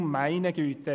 Du meine Güte!